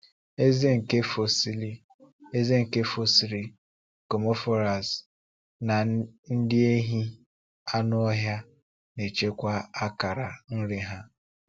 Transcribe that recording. Ezé nke fosil Ezé nke fosil gomphotheres na ndị ehi anụ ọhịa na-echekwa akara nri ha.